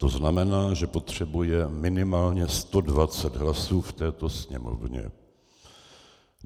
To znamená, že potřebuje minimálně 120 hlasů v této Sněmovně.